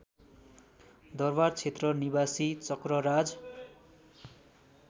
दरबारक्षेत्र निवासी चक्रराज